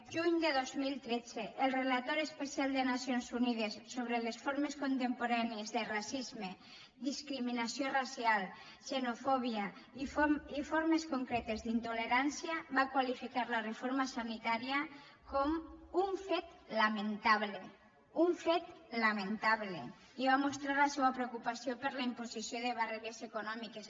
juny de dos mil tretze el relator especial de nacions unides sobre les formes contemporànies de racisme discriminació racial xenofòbia i formes concretes d’intolerància va qualificar la reforma sanitària com un fet lamentable un fet lamentable i va mostrar la seua preocupació per la imposició de barreres econòmiques